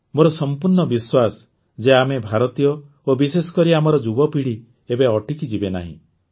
ମୋର ସଂପୂର୍ଣ୍ଣ ବିଶ୍ୱାସ ଯେ ଆମେ ଭାରତୀୟ ଓ ବିଶେଷ କରି ଆମର ଯୁବପିଢ଼ି ଏବେ ଅଟକିଯିବେ ନାହିଁ